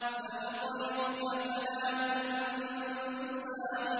سَنُقْرِئُكَ فَلَا تَنسَىٰ